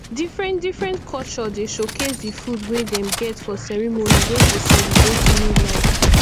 differentdifferent culture dey showcase di food wey dem get for ceremony wey dey celebrate new life